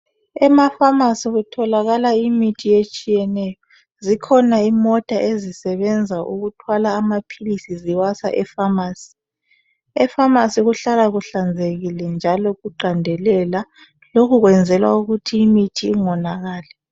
Ema pharmacy kutholakala imithi etshiyeneyo zikhona imota ezisebenza ukuthwala amaphilisi ziwasa epharmarcy epharmarcy kuhlala kuhlanzekile njalo kuqandelela lokhu kwenzelwa ukuthi imithi ingonakalali.